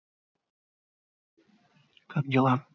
как дела